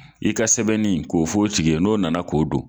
I ka sɛbɛnni k'o fɔ tigi ye n'o nana k'o don.